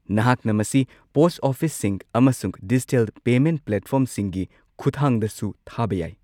ꯅꯍꯥꯛꯅ ꯃꯁꯤ ꯄꯣꯁꯠ ꯑꯣꯐꯤꯁꯁꯤꯡ ꯑꯃꯁꯨꯡ ꯗꯤꯖꯤꯇꯦꯜ ꯄꯦꯃꯦꯟꯠ ꯄ꯭ꯂꯦꯠꯐꯣꯔꯝꯁꯤꯡꯒꯤ ꯈꯨꯠꯊꯥꯡꯗꯁꯨ ꯊꯥꯕ ꯌꯥꯏ꯫